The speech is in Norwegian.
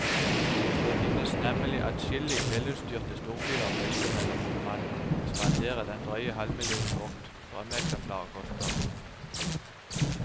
Det finnes nemlig adskillige velutstyrte storbiler å velge mellom om man vil spandere den drøye halvmillionen vårt drømmeeksemplar koster.